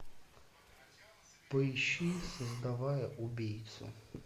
поищи создавая убийцу